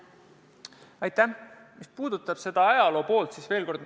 Aitäh!